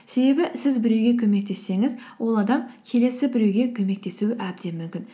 себебі сіз біреуге көмектессеңіз ол адам келесі біреуге көмектесуі әбден мүмкін